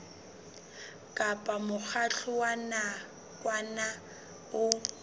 kapa mokgatlo wa nakwana o